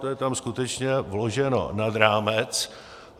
To je tam skutečně vloženo nad rámec.